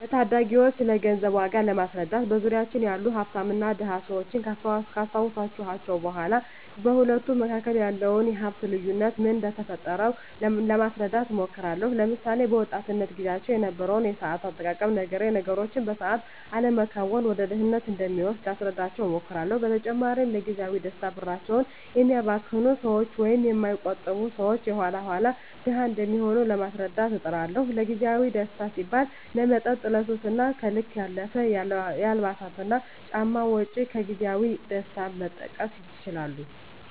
ለታዳጊወች ስለገንዘብ ዋጋ ለማስረዳት በዙሪያችን ያሉ ሀፍታምና ድሀ ሰወችን ካስታወስኳቸው በኋ በሁለቱ መካከል ያለውን የሀፍት ልዮነት ምን እደፈጠረው ለማስረዳት እሞክራለሁ። ለምሳሌ፦ በወጣትነት ግዚያቸው የነበረውን የሰአት አጠቃቀም ነግሬ ነገሮችን በሰአት አለመከወን ወደ ድህነት እንደሚወስድ ላስረዳቸው እሞክራለው። በተጨማሪም ለግዚያዊ ደስታ ብራቸውን የሚያባክኑ ሰወች ወይም የማይቆጥቡ ሰወች የኋላ ኋላ ድሀ እንደሚሆኑ ለማስረዳት እጥራለሁ። ለግዜአዊ ደስታ ሲባል ለመጠጥ፣ ለሱስ እና ከልክ ያለፈ የአልባሳትና ጫማ ወጭ ከግዜያዊ ደስታ መጠቀስ ይችላሉ።